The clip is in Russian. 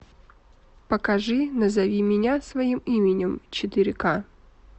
покажи назови меня своим именем четыре ка